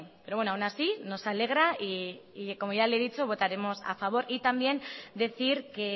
pero bueno aun así nos alegra y como ya le he dicho votaremos a favor y también decir que